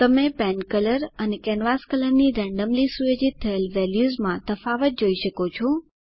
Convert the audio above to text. તમે pen colour અને canvas કલરની રેન્ડમલી સુયોજિત થયેલ વેલ્યુઝમાં તફાવત જોઈ શકો છો